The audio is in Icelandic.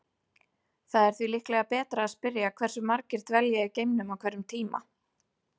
Það er því líklega betra að spyrja hversu margir dvelja í geimnum á hverjum tíma.